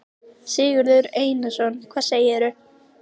Sigurður Einarsson: Hvað segirðu?